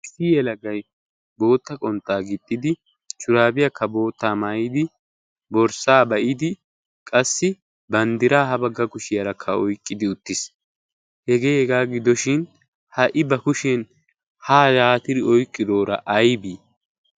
issii yelagay bootta qonxxaa gixxidi shuraabiyaakka boottaa maayidi borssaa ba'idi qassi banddiraa ha bagga kushiyaarakka oiqqidi uttiis hegee hegaa gidoshin ha"i ba kushiyen ha yaatiri oiqqiroora aybee?